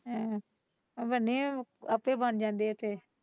ਹਾਂ ਆਪੇ ਬਣ ਜਾਂਦੇ ਹੈ ਫ਼ੇਰ।